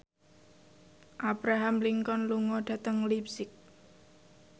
Abraham Lincoln lunga dhateng leipzig